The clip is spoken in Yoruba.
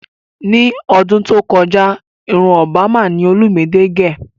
Ní ọdún tó kọjá irun Òbámà ni olúmidé gẹ̀